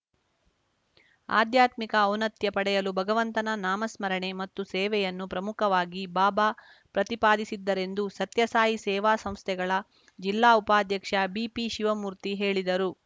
ಆಧ್ಯಾತ್ಮಿಕ ಔನ್ನತ್ಯಪಡೆಯಲು ಭಗವಂತನ ನಾಮಸ್ಮರಣೆ ಮತ್ತು ಸೇವೆಯನ್ನು ಪ್ರಮುಖವಾಗಿ ಬಾಬಾ ಪ್ರತಿಪಾದಿಸಿದ್ದರೆಂದು ಸತ್ಯಸಾಯಿ ಸೇವಾ ಸಂಸ್ಥೆಗಳ ಜಿಲ್ಲಾ ಉಪಾಧ್ಯಕ್ಷ ಬಿಪಿಶಿವಮೂರ್ತಿ ಹೇಳಿದರು